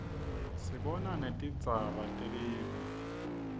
sibona netingzaba telive